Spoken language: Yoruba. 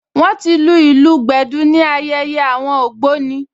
Wọ́n ti lu ìlù gbẹ̀dú ní ayẹyẹ àwọn ògbóni